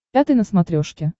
пятый на смотрешке